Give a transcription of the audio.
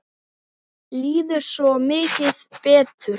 Mér líður svo mikið betur.